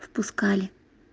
впускали